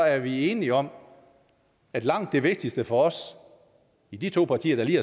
er vi enige om at langt det vigtigste for os i de to partier der lige